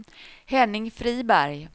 Henning Friberg